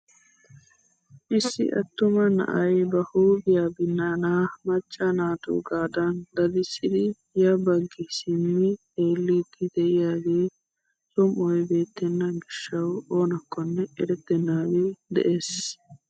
Issi attuma na'ay ba huuphphiyaa binnaana macca naatugaadan dadissidi ya baggi simmi xeelliidi de'iyaage som"oy beettena giishshawu oonakkonne erettenagee de'ees.